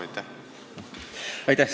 Aitäh!